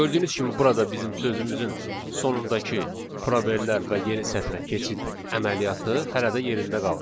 Gördüyünüz kimi burada bizim sözümüzün sonundakı probellər və yeni sətrə keçid əməliyyatı hələ də yerində qalır.